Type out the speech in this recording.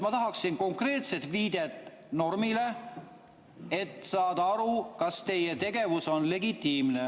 Ma tahaksin konkreetset viidet normile, et saada aru, kas teie tegevus on legitiimne.